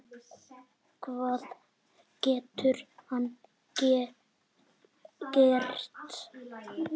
Hvað getur hann gert?